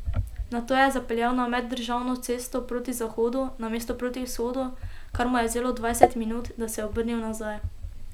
Nato je zapeljal na meddržavno cesto proti zahodu namesto proti vzhodu, kar mu je vzelo dvajset minut, da se je obrnil nazaj.